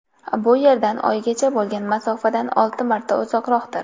Bu Yerdan oygacha bo‘lgan masofadan olti marta uzoqroqdir.